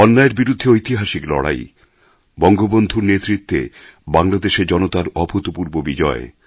অন্যায়ের বিরুদ্ধে ঐতিহাসিক লড়াই বঙ্গবন্ধুর নেতৃত্বে বাংলাদেশের জনতার অভূতপূর্ব বিজয়